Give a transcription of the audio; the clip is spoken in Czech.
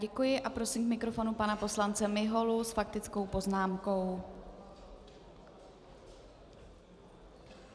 Děkuji a prosím k mikrofonu pana poslance Miholu s faktickou poznámkou.